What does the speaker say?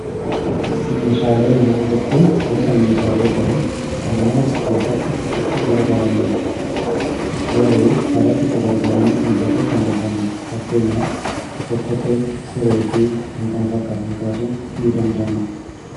Meeshaalee manaa jechuun gosa meeshaalee ta'ee kan mana keessatti itti gargaramnuu dha. Garuu alatti fayyadamuuf kan hin mijanneedha. Fakkeenyaaf Okkotee fi siree kaasuun ni danda'ama.